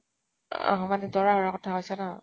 অ অ মানে দৰা অহাৰ কথা কৈছ ন ?